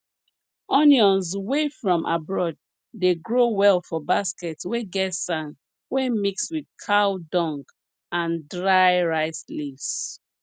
onions wey from abroad dey grow well for basket wey get sand wey mix with cow dung and dry rice leaves